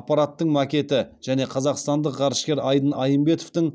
аппараттың макеті және қазақстандық ғарышкер айдын айымбетовтің